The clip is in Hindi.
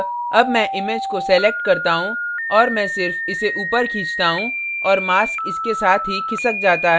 अतः अब मैं image को select करता हूँ और मैं सिर्फ इसे ऊपर खींचता हूँ और mask इसके साथ ही खिसक जाता है